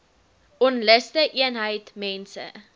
onluste eenheid mense